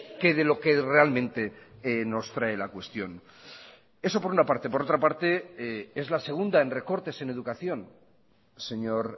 que de lo que realmente nos trae la cuestión eso por una parte por otra parte es la segunda en recortes en educación señor